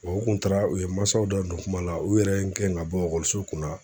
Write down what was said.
u kun taara u ye masaw da don kuma la, u yɛrɛ ye n gɛn ka bɔ ekɔliso kun na